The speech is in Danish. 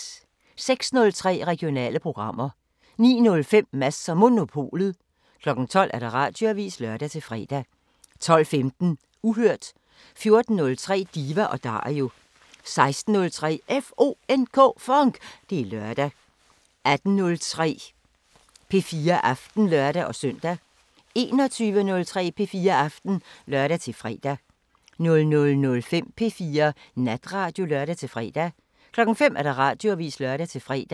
06:03: Regionale programmer 09:05: Mads & Monopolet 12:00: Radioavisen (lør-fre) 12:15: Uhørt 14:03: Diva & Dario 16:03: FONK! Det er lørdag 18:03: P4 Aften (lør-søn) 21:03: P4 Aften (lør-fre) 00:05: P4 Natradio (lør-fre) 05:00: Radioavisen (lør-fre)